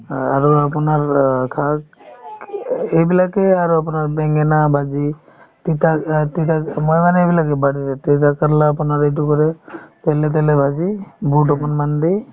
অ আৰু আপোনাৰ অ শাক এইবিলাকে আৰু আপোনাৰ বেঙেনা ভাজি তিতাক অ তিতাক মই মানে এইবিলাক তিতাকেৰেলা আপোনাৰ এইটো কৰি তেলে তেলে ভাজি বুট অকনমান দি